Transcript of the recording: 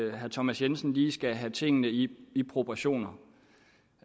at herre thomas jensen lige skal se tingene i i proportioner